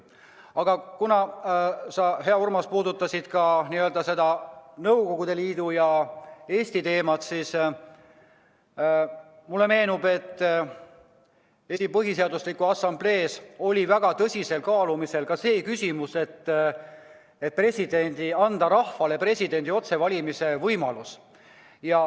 Aga kuna sa, hea Urmas, puudutasid ka Nõukogude Liidu ja Eesti teemat, siis mulle meenub, et Eesti Põhiseaduse Assamblees oli väga tõsiselt kaalumisel, kas mitte anda rahvale presidendi otsevalimise võimalus.